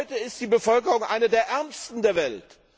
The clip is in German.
Heute ist die Bevölkerung eine der ärmsten der Welt.